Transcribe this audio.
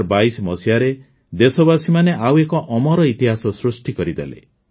୨୦୨୨ରେ ଦେଶବାସୀମାନେ ଆଉ ଏକ ଅମର ଇତିହାସ ସୃଷ୍ଟି କରିଦେଲେ